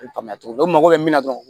Faamuya cogo min u mago bɛ min na dɔrɔn